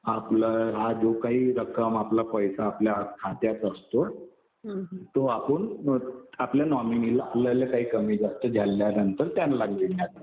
आपलं हा जो काही रक्कम आपला पैसा खात्यात असतो तो आपण आपल्या नॉमिनीला आपलायला काही कमी जास्त झाल्यानंतर त्यांना मिळणार.